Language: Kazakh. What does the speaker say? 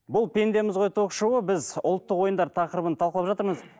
бұл пендеміз ғой ток шоуы біз ұлттық ойындар тақырыбын талқылап жатырмыз